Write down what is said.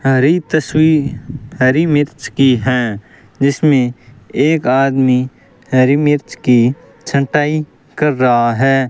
और ये तस्वीर हरी मिर्च की है जिसमें एक आदमी हरी मिर्च की छटाई कर रहा है।